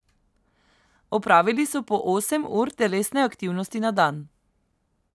Opravili so po osem ur telesne aktivnosti na dan.